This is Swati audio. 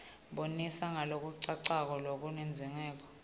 bonisa ngalokucacako kulencwadzimibuto